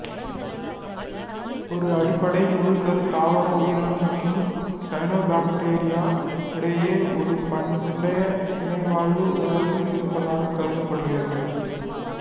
ஒரு அடிப்படை முழுக்கரு தாவர உயிரணு மற்றும் சயனோபாக்டீரியா இடையே ஒரு பண்டைய இணைவாழ்வு உறவு இருந்ததாக கருதப்படுகிறது